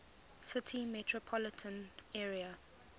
city metropolitan area